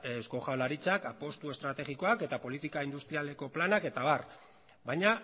eusko jaurlaritzak apostu estrategikoak eta politika industrialeko planak eta abar baina